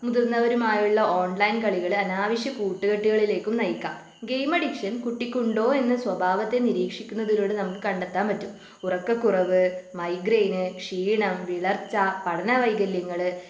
മുതിർന്നവരുമായുള്ള online കളികള് അനാവശ്യ കൂട്ടുകെട്ടുളിലേക്കും നയിക്കാം. ഗെയിം അഡിക്ഷൻ കുട്ടിക്ക് ഉണ്ടോ എന്ന സ്വഭാവത്തെ നിരീക്ഷിക്കുന്നതിലൂടെ നമുക്ക് കണ്ടെത്താൻ പറ്റും. ഉറക്കക്കുറവ്, മൈഗ്രൈന്, ക്ഷീണം, വിളർച്ച, പഠനവൈകല്യങ്ങള്